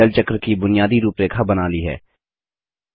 हमने जल चक्र की बुनियादी रूपरेखा बना ली है